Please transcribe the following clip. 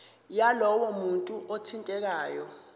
yalowo muntu othintekayo